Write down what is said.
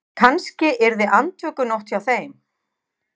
Kannski yrði andvökunótt hjá þeim.